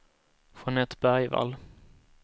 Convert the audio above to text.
Jeanette Bergvall